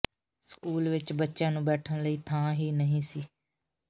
school ਵਿੱਚ ਬੱਚਿਆਂ ਨੂੰ ਬੈਠਣ ਲਈ ਥਾਂ ਹੀ ਨਹੀਂ ਸੀ